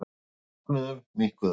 Við bognuðum, minnkuðum.